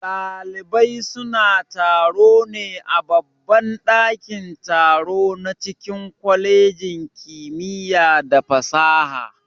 Ɗalibai suna taro ne a babban ɗakin-taro na cikin kwalejin kimiya da fasaha.